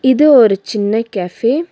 இது ஒரு சின்ன கஃபே .